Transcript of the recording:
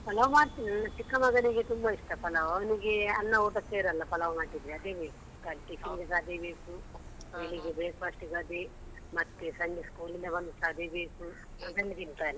ಪಲಾವ್ ಮಾಡ್ತೀವಿ ನನ್ನ ಚಿಕ್ಕ ಮಗನಿಗೆ ತುಂಬಾ ಇಷ್ಟ ಪಲಾವ್ ಅವನಿಗೆ ಅನ್ನ ಊಟ ಸೇರಲ್ಲ ಪಲಾವ್ ಮಾಡಿದ್ರೆ ಅದೇ ಬೇಕು ಖಾಲಿ tiffin ಗೆಸಾ ಅದೇ ಬೇಕು, ಬೆಳಿಗ್ಗೆ breakfast ಗೆ ಅದೇ ಮತ್ತೆ ಸಂಜೆ school ಇಂದ ಬಂದ್ ಸಾ ಅದೇ ಬೇಕು.